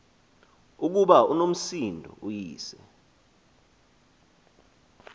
ukuba unomsindo uyise